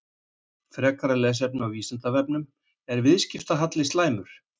Frekara lesefni á Vísindavefnum: Er viðskiptahalli slæmur?